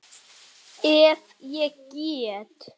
Að því eru vitni.